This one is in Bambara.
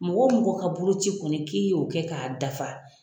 Mɔgɔ mɔgɔ ka boloci kɔni k'i y'o kɛ k'a dafa